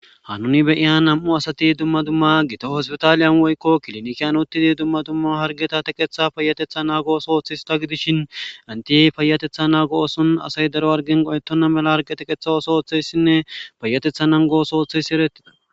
Hanin be'iya nam'u asati duma duma hospitalen woyko kiliniken uthidi duma duma hargeta teqethetetha nagos oothiyaysa gidishin enti fayatetha nago oson daro hargen qohetena mala oge teqetha oothiyaysane payatetha nango ooso oothiyay eretes.